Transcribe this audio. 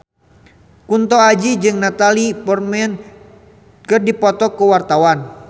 Kunto Aji jeung Natalie Portman keur dipoto ku wartawan